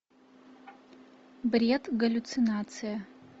бред галлюцинация